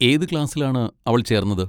ഏത് ക്ലാസ്സിലാണ് അവൾ ചേർന്നത്?